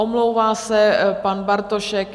Omlouvá se pan Bartošek